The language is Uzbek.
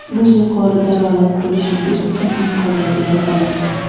Biz yuqori daromad ko‘rishingiz uchun imkoniyat yaratamiz.